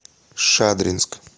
шадринск